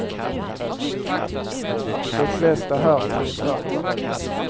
De flesta här tror tvärtom.